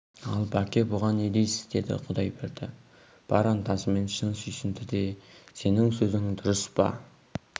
ал бәке бұған не дейсіз деді құдайберді бар ынтасымен шын сүйсінді де сенің сөзің дұрыс па